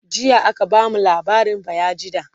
jiya aka bamu labarin bayajidda